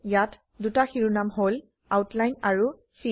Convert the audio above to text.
ইয়াত দুটা শিৰোনাম হল আউটলাইন আৰু ফিল